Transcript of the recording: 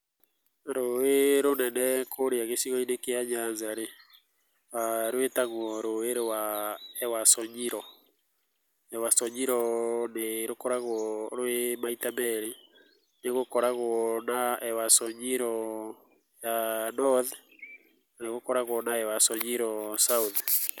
Rũĩ rũnene kũrĩa gicigo-inĩ kĩa Nyanza rĩ, rwĩtagwo rũĩ rwa Ewasonyiro, Ewasonyiro nĩ rũkoragwo rwĩ maita merĩ nĩgũkoragwo na Ewasonyiro ya North, na nĩgũkoragwo na Ewasonyiro South.